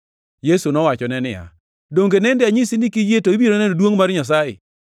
Yesu nowachone niya, “Donge nende anyisi ni kiyie to ibiro neno duongʼ mar Nyasaye?”